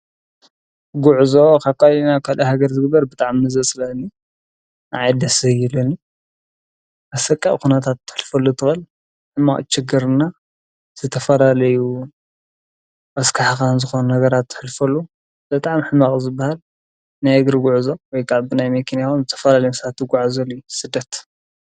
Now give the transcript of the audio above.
ጕዕዞ ኻኳይና ኳል ሕገር ዝግበር ብጥዓ ምዘጽለኒ ኣዓድሰይለኒ ኣሰቂእ ኹነታት እትሕልፈሉ ትበል እማቕ ችገርና ዘተፈላለዩ ኣስካሕኻን ዝኾኑ ነገራት ትሕልፈሉ ዘጥዕም ኅማቕ ዘበሃል ናይግሪ ጕዕዞ ወይቃዕብናይ መኪን እያሆን ዘተፈላ ልምሳቲ ጐዕ ዘልይ ስደት።